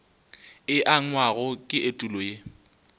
e angwago ke etulo ye